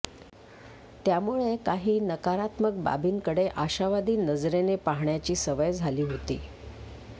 त्यामुळे काही नकारात्मक बाबींकडे आशावादी नजरेने पाहण्याची सवय झाली होती